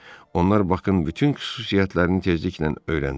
Onlar Bakın bütün xüsusiyyətlərini tezliklə öyrəndilər.